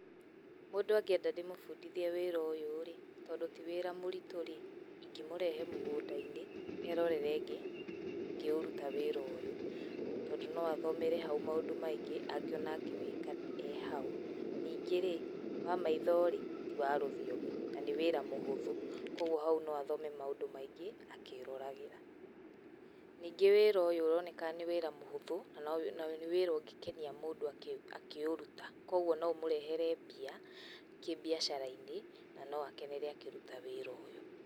Mũndũ angĩenda ndĩmũbundithie wĩra ũyũ rĩ, tondũ ti wĩra mũritũ rĩ, ingĩmũrehe mũngũnda-inĩ, erorere ngĩũruta wĩra ũyũ, tondũ no athomere hau maũndũ maingĩ angiona ngĩwĩka arĩ hau. Ningĩ rĩ wa maitho rĩ, ti wa rũthiomi, na nĩ wĩra mũhũthũ, koguo hau no athome maũndũ maingĩ akĩĩroragĩra. Ningĩ wĩra ũyũ ũronekana nĩ wĩra mũhũthũ na nĩ wĩra ũngĩkenia mũndũ akĩũruta. Koguo no ũmũrehere mbia, kĩbiacara-inĩ na no akenere akĩruta wĩra ũyũ.